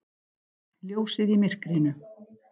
Ljósið í myrkrinu!